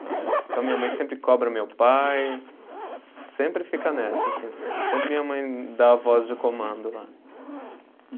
Então, minha mãe sempre cobra meu pai, sempre fica nessa, assim, sempre minha mãe dá a voz de comando lá.